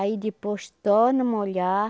Aí depois torna a molhar.